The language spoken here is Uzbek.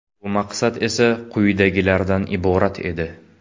Bu maqsad esa quyidagilardan iborat edi.